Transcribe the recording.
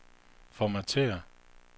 formatér